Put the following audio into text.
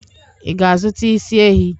Ị ga-azụta isi ehi?